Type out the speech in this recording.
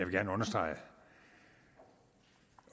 gerne understrege